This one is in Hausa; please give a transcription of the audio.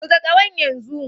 Buga ƙahon yanzu!